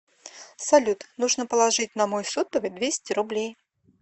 салют нужно положить на мой сотовый двести рублей